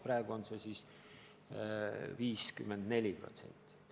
Praegu on see näitaja 54%.